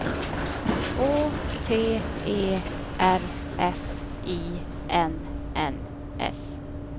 Å T E R F I N N S